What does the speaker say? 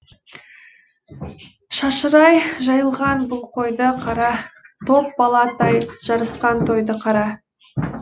шашырай жайылған бұл қойды қара топ бала тай жарысқан тойды қара